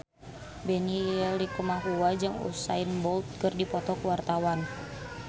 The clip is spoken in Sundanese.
Benny Likumahua jeung Usain Bolt keur dipoto ku wartawan